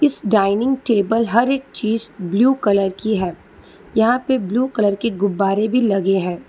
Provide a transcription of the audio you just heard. इस dining table हर एक चीज ब्लू कलर की है यहां पर ब्लू कलर की गुब्बारे भी लगे हैं।